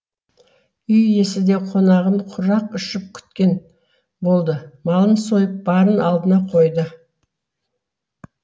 үй иесі де қонағын құрақ ұшып күткен болды малын сойып барын алдына қойды